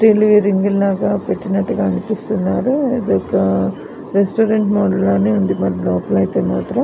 Steel రింగులు పెట్టినట్టుగా అనిపిస్తునరు. ఇది ఒక రెస్టారెంట్ లాగానే అనిపిస్తుంది లోపల అయితే.